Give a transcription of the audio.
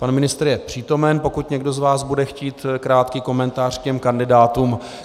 Pan ministr je přítomen, pokud někdo z vás bude chtít krátký komentář k těm kandidátům.